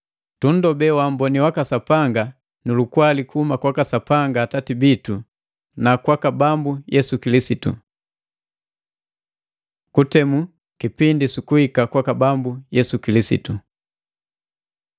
Tunndobee waamboni waka Sapanga nu lukwali kuhuma kwaka Sapanga Atati bitu na kwaka Bambu Yesu Kilisitu. Kutemu kipindi su kuhika kwaka Bambu Yesu Kilisitu